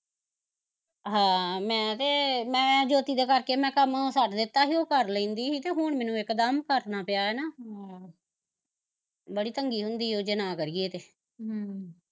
ਹਾਂ ਮੈਂ ਤੇ ਮੈਂ ਜੋਤੀ ਦੇ ਕਰਕੇ ਮੈਂ ਕੰਮ ਛੱਡ ਦਿੱਤਾ ਸੀ ਉਹ ਕਰ ਲੈਂਦੀ ਸੀ ਤੇ ਹੁਣ ਮੈਨੂੰ ਇਕਦਮ ਕਰਨਾ ਪਿਆ ਨਾ ਆਹ ਬੜੀ ਤੰਗੀ ਹੁੰਦੀ ਓ ਜੇ ਨਾ ਕਰੀਏ ਤੇ ਹਮ